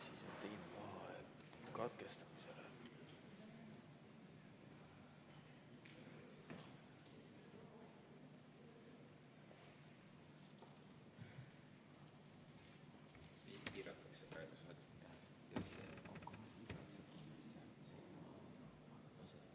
V a h e a e g